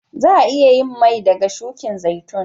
Za'a iya yin mai daga shukin zaitun.